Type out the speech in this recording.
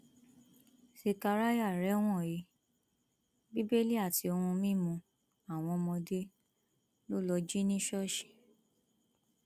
sekaráyà rẹwọn he bíbélì àti ohun mímú àwọn ọmọdé lọ lọọ jí ní ṣọọṣì